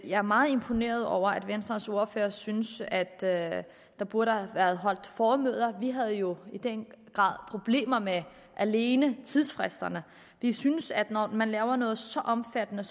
jeg er meget imponeret over at venstres ordfører synes at at der burde have været holdt formøder vi havde jo i den grad problemer med alene tidsfristerne vi synes at når man laver noget så omfattende